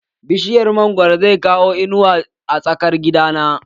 Bishiyar mangwaro zai kawo inuwa a tsakar gidan